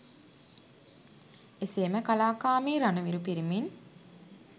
එසේම කලාකාමී රණවිරු පිරිමින්